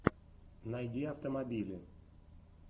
найди автомобили